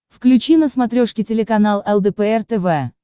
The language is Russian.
включи на смотрешке телеканал лдпр тв